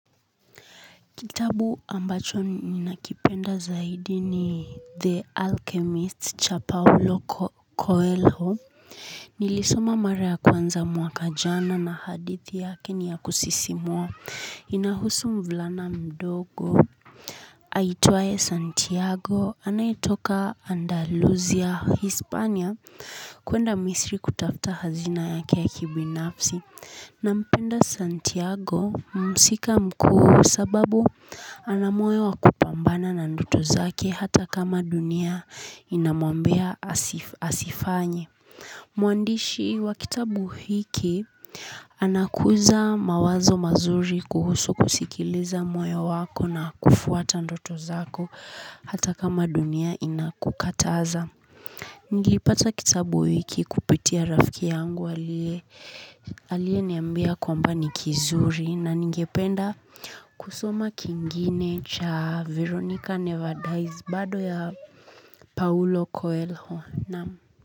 Kitabu ambacho ninakipenda zaidi ni The Alchemist cha Paulo Coelho. Nilisoma mara ya kwanza mwaka jana na hadithi yake ni ya kusisimua inahusu mvulana mdogo aitwaye Santiago anayetoka Andalusia Hispania kuenda Misri kutafuta hazina yake ya kibinafsi. Nampenda Santiago mhusika mkuu kwa sababu ana moyo wa kupambana na ndoto zake hata kama dunia inamwambia asifanye. Mwandishi wa kitabu hiki anakuza mawazo mazuri kuhusu kusikiliza moyo wako na kufuata ndoto zako hata kama dunia inakukataza. Nilipata kitabu hiki kupitia rafiki yangu aliyeniambia kwamba ni kizuri na ningependa kusoma kingine cha Veronica Never Dies bado ya Paulo Coelho. Naam.